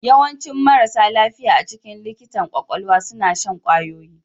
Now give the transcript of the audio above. Yawancin marasa lafiya a cikin likitan kwakwalwa suna shan kwayoyi